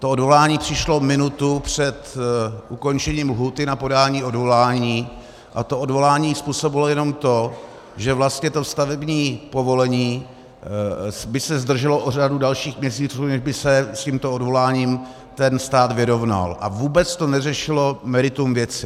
To odvolání přišlo minutu před ukončením lhůty na podání odvolání a to odvolání způsobilo jenom to, že vlastně to stavební povolení by se zdrželo o řadu dalších měsíců, než by se s tímto odvoláním ten stát vyrovnal, a vůbec to neřešilo meritum věci.